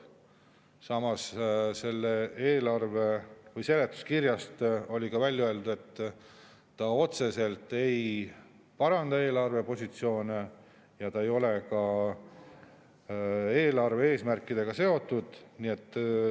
Samas oli seletuskirjas ka välja öeldud, et see otseselt ei paranda eelarvepositsioone ega ole ka eelarve eesmärkidega seotud.